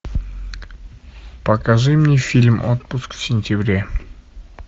покажи мне фильм отпуск в сентябре